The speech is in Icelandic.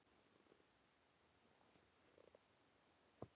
Hví er spurt?